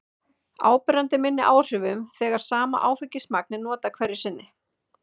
áberandi minni áhrifum þegar sama áfengismagn er notað hverju sinni